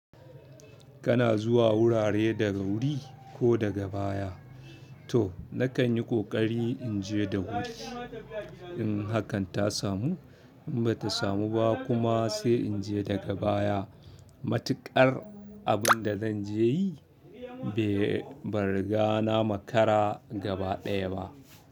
Kana zuwa wurare daga wuri ko daga baya. To nakan yi ƙoƙari in je da wuri. In hakan ta samu, in ba ta samu ba kuma sai in je daga baya. Matuƙar abinda zanje yi ban riga na makara gaba baya ba.